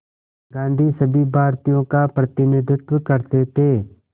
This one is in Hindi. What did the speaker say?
गांधी सभी भारतीयों का प्रतिनिधित्व करते थे